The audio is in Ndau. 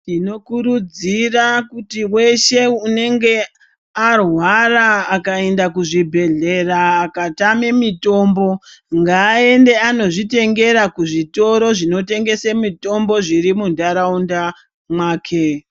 Tinokurudzira kuti weshe unenga arwara akaenda kuzvibhehlera akatame mitombo ngaende anozvitengera kuzvitoro zvinotengese mitombo zvirimundaraunda mwake.